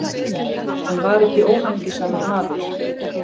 Hann var ekki óhamingjusamur maður.